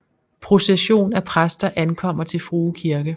Procession af præster ankommer til Frue Kirke